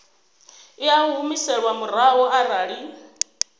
i a humiselwa murahu arali